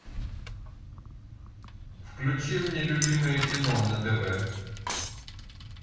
включи мне любимое кино на тв